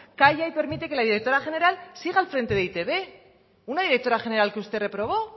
calla y permite que la directora general siga al frente de e i te be una directora general que usted reprobó